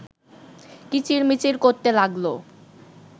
কিচিরমিচির করতে লাগল